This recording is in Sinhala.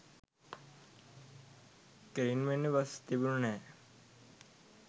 කෙළින්ම එන්න බස් තිබුණේ නැහැ